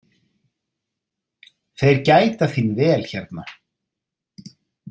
Þeir gæta þín vel hérna.